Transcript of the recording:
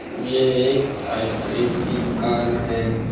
ये एक आइसक्रीम की दुकान है।